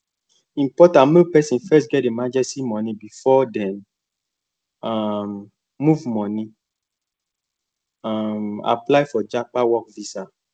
important make person first get emergency money before dem um move money um apply for japan work visa